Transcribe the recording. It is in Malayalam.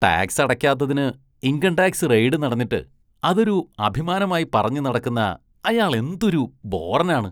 ടാക്‌സ് അടയ്ക്കാത്തതിന് ഇന്‍കം ടാക്‌സ് റെയ്ഡ് നടന്നിട്ട് അതൊരു അഭിമാനമായി പറഞ്ഞുനടക്കുന്ന അയാളെന്തൊരു ബോറനാണ്.